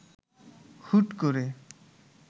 হুট করে